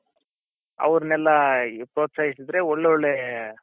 ಆವೃನ್ನೆಲ್ಲ ಪ್ರೋತ್ಸಾಹಿಸಿದರೆ ಒಳ್ಳ್ ಒಳ್ಳೆ